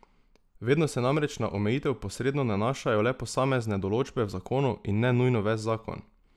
Vedno se namreč na omejitev posredno nanašajo le posamezne določbe v zakonu in ne nujno ves zakon.